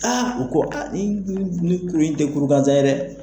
Aa u ko a ni ni kuru in tɛ kuru ganzan ye dɛ.